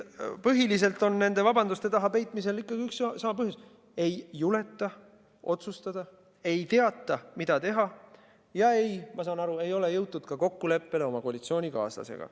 Põhiliselt on nende vabanduste taha peitumisel üks ja sama põhjus: ei juleta otsustada, ei teata, mida teha, ja nagu ma aru saan, ei ole jõutud ka kokkuleppele oma koalitsioonikaaslasega.